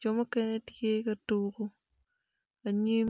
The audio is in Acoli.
jo mukene tye ka tuku anyim.